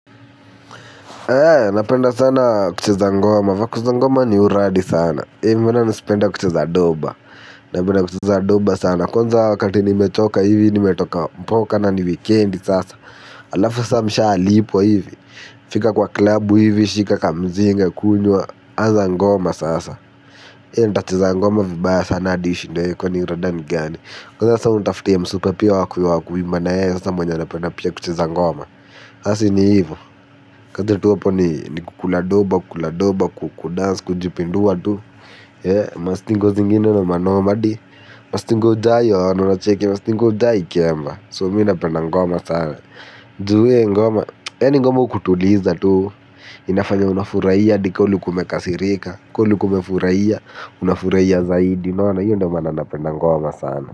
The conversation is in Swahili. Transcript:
Napenda sana kucheza ngoma vako za ngoma ni uradi sana mbona nisipenda kucheza doba. Napenda kucheza doba sana. Kwanza wakati nimechoka hivi nimetoka mboka na ni wikendi sasa. Alafu sa mshalipwa hivi. Fika kwa klabu hivi shika kamzinga kunywa anza ngoma sasa nita cheza ngoma vibaya sana hadi ishindwe kwani rada ni gani. Kwanza sa unitafutia msupa pia wakuimba na yeye sasa pia mwenye anapenda pia kucheza. Ngoma sasa si ni ivo, kazi tu hapo ni kukula doba kukula doba kudans kujipindua tu. Mastingo zingine noma noma mastingo jai wa anunacheki, mastingo jai kiemba. So mii napenda ngoma sana. Juu we ngoma, yaani ngoma hukutuliza tu. Inafanya unafurahia hadi kama ulikua umekasirika, kama ulikua umefurahia, unafurahia zaidi. Unaona hiyo ndo maana napenda ngoma sana.